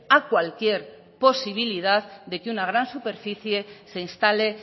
a cualquier posibilidad de que una gran superficie se instale